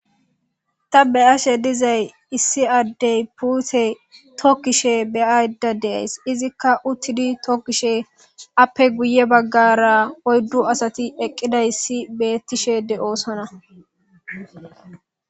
ta be ashe dizay issi addey puute tokkishe beyayda deays izikka uttidi tokkishe appe guye baggara oyddu asati eqqida issi beettishe de7oosona